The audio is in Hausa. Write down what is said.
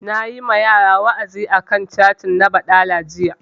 Nayi wa yara wa'azi a kan catin na baɗala jiya